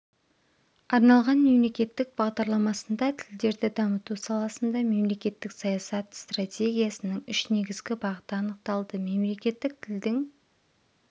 арналған мемлекеттік бағдарламасында тілдерді дамыту саласында мемлекеттік саясат стратегиясының үш негізгі бағыты анықталды мемлекеттік тілдің